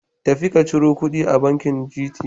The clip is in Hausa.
Tafi ka ciro kuɗin a bankin GT.